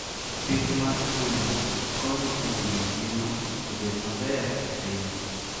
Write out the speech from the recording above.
Pith mag gwen konyo e miyo ngima obed maber e piny.